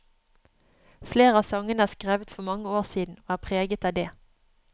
Flere av sangene er skrevet for mange år siden, og er preget av det.